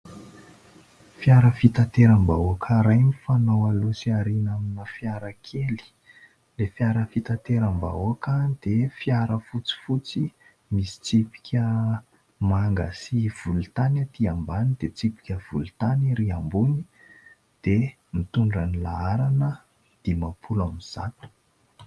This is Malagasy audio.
Fiara fitateram-bahoaka iray mifanao aloha sy aoriana amina fiara kely. Ilay fiara fitateram-bahoaka dia fiara fotsifotsy misy tsipika manga sy volontany atỳ ambany, dia tsipika volontany ary ambony, dia mitondra ny laharana dimapolo ambizato.